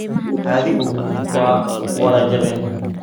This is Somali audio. Xadhigu waa wada jabeen.